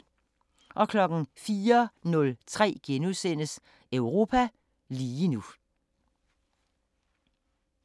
04:03: Europa lige nu *